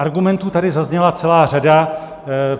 Argumentů tady zazněla celá řada.